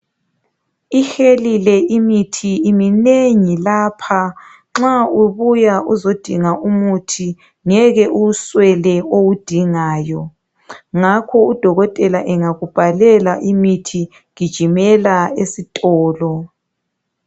Ihelile imithi. Iminengi lapha. Nxa ubuya uzodinga umithi, ungeke uwuswele owudingayo .Ngakho udokotela angakubhalela umuthi, gijimela esitolo.